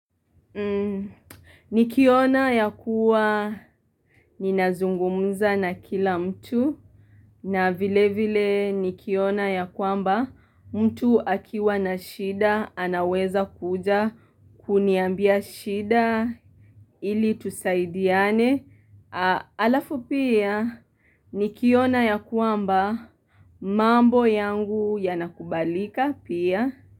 Nikiona ya kuwa ninazungumza na kila mtu na vile vile nikiona yakwamba mtu akiwa na shida anaweza kuja kuniambia shida ili tusaidiane alafu pia nikiona yakwamba mambo yangu yanakubalika pia.